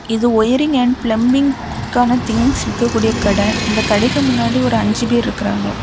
இது wiring and பிளம்பிங்கான things விக்க கூடிய கடை இந்த கடைக்கு முன்னாடி ஒரு அஞ்சு பேரு இருக்குறாங்க.